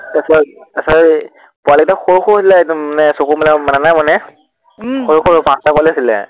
তাৰপৰা সেই পোৱালীকেইটা সৰু সৰু হৈছিলে একদম, চকু মেলা নাই মানে উম সৰু সৰু পাঁচটা পোৱালী হৈছিলে